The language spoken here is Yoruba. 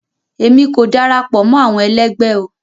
Emi ko darapọ̀ mọ́ àwọn ẹlẹgbẹ o.